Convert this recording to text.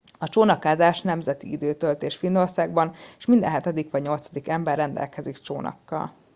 a csónakázás nemzeti időtöltés finnországban és minden hetedik vagy nyolcadik ember rendelkezik csónakkal